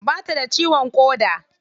Ba ta da ciwon ƙoda.